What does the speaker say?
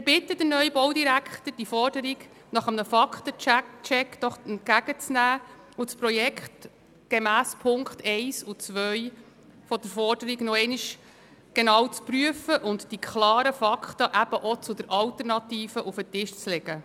Wir bitten den neuen Baudirektor, die Forderung nach einem Fakten-Check entgegenzunehmen und das Projekt gemäss Punkt 1 und 2 der Forderung noch einmal genau zu prüfen und eben auch die Fakten zur Alternative auf den Tisch zu legen.